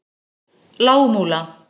Lágmúla